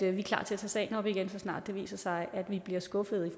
er klar til at tage sagen op igen så snart det viser sig at vi bliver skuffede